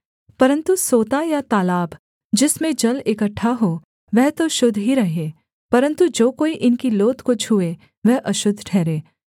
परन्तु सोता या तालाब जिसमें जल इकट्ठा हो वह तो शुद्ध ही रहे परन्तु जो कोई इनकी लोथ को छूए वह अशुद्ध ठहरे